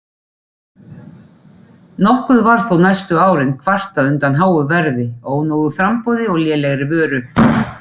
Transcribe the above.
Nokkuð var þó næstu árin kvartað undan háu verði, ónógu framboði og lélegri vöru.